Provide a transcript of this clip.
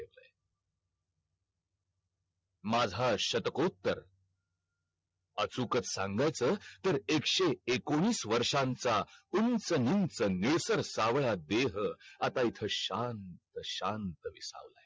माझा शतकोत्तर अचूकच सांगायचं तर एकशे एकोणीस वर्षांचा उंच उंच नेसर सावला देह आता हित शांत शांत विसावलाय